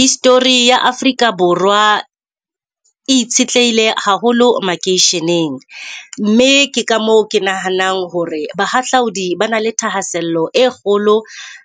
History ya Afrika Borwa e itshetleile haholo makeisheneng mme ke ka moo ke nahanang hore bahahlaudi ba na le thahasello e kgolo